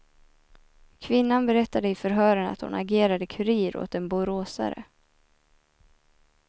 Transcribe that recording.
Kvinnan berättade i förhören att hon agerade kurir åt en boråsare.